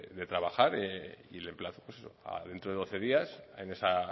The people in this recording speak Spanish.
de trabajar y le emplazo a dentro de doce días en esa